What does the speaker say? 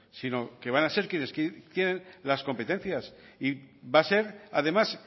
sino que van a ser quienes tienen las competencias y va a ser además